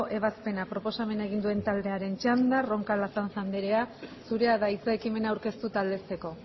ebazpena proposamen egin duen taldearen txanda roncal azanza anderea zurea da hitza ekimena aurkeztu eta aldezteko